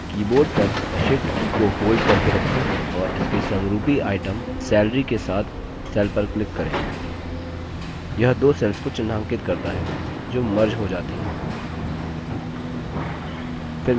अब कीबोर्ड पर shift की को होल्ड करके रखें और इसके समरूपी आइटम salary के साथ सेल पर क्लिक करें यह दो सेल्स को चिन्हांकित करता है जो मर्ज हो जाती हैं